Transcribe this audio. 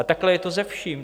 A takhle je to se vším.